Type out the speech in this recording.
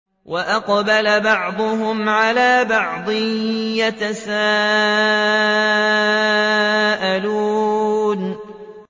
وَأَقْبَلَ بَعْضُهُمْ عَلَىٰ بَعْضٍ يَتَسَاءَلُونَ